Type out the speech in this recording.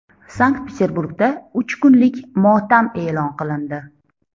Sankt-Peterburgda uch kunlik motam e’lon qilindi.